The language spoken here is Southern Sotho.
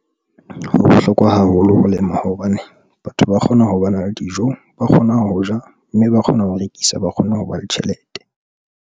Ho bohlokwa haholo ho lema hobane batho ba kgona ho ba na le dijo, ba kgona ho ja mme ba kgona ho rekisa ba kgone ho ba le tjhelete.